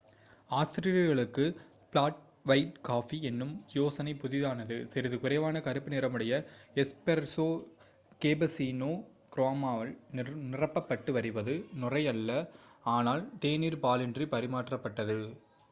ஆஸ்திரேலியர்களுக்கு 'flat white' coffee எனும் யோசனை புதிதானது. சிறிது குறைவான கருப்பு நிறமுடையது 'எஸ்பெரெஸோ' கேபசீனோ க்ரீமால் நிரப்பப்பட்டு வருவது நுரையல்ல ஆனால் தேநீர் பாலின்றி பரிமாறப்படுவது